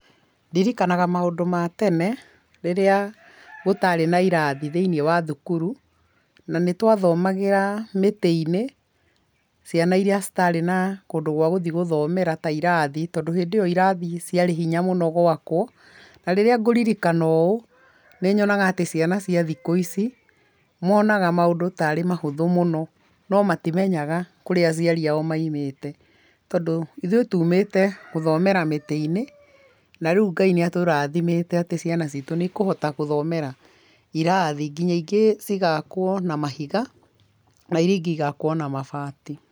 Ndirikanaga maũndũ ma tene rĩrĩa gũtarĩ na irathi thĩinĩ wa thukuru na nĩ twathomagĩra mĩtĩ-inĩ. Ciana iria citarĩ na kũndũ gwa gũthiĩ gũthomera ta irathi tondũ ĩndĩ ĩyo irathi ciarĩ hinya mũno gwakwo. Na rĩrĩa ngũririkana ũũ nĩ nyoga atĩ ciana cia thikũ ici monaga maũndũ tarĩ mahũthũ mũno no matomenyaga kũrĩa acoiari ao maumĩte. Tondũ ithuĩ tumĩte gũthomera mĩtĩ-inĩ na rĩu Ngai nĩ atũrathimĩte atĩ ciana citũ nĩ ikũhota gũthomera irathi nginya ingĩ cigakwo na mahiga na iria ingĩ cigakwo na mabati.